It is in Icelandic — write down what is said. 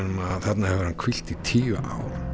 um að þarna hafi hann hvílt í tíu ár